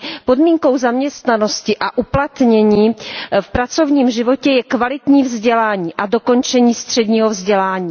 Podmínkou zaměstnanosti a uplatnění v pracovním životě je kvalitní vzdělání a dokončení středního vzdělání.